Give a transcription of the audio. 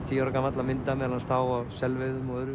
tíu ára gamall að mynda meðal annars þá á selveiðum og öðru